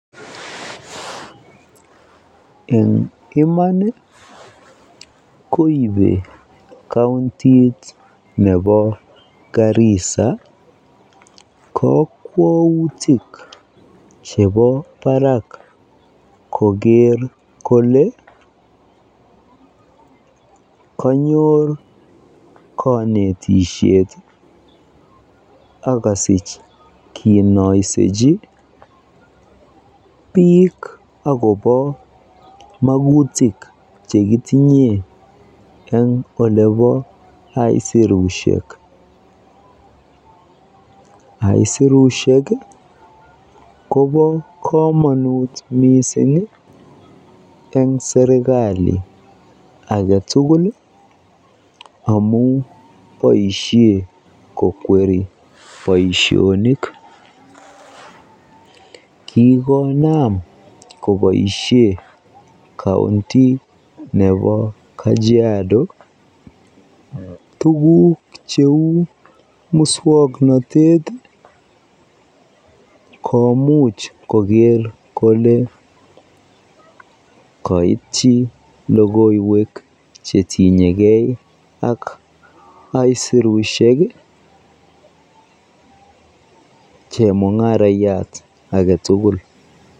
En emoni koibe counti nebo Garissa kokwoutik chebo barak koker kolee konyor konetishet ak kosich kinoisechi biik akobo makutik chekitinyen en olebo aisurushek, aisirushek kobo komonut mising en serikali aketukul amun boishen kokweri boishonik, kikonam koboishen counti nebo Kajiado tukuk cheu muswoknotet komuch koker kolee koityi lokoiwek chetinyekei ak aisurushek chemungarayat aketukul.